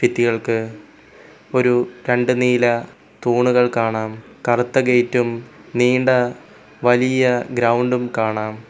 ഭിത്തികൾക്ക് ഒരു രണ്ട് നീല തൂണുകൾ കാണാം കറുത്ത ഗേറ്റും നീണ്ട വലിയ ഗ്രൗണ്ടും കാണാം.